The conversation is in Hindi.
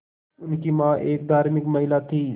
उनकी मां एक धार्मिक महिला थीं